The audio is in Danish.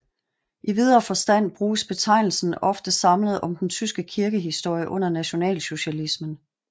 I videre forstand bruges betegnelse ofte samlet om den tyske kirkehistorie under nationalsocialismen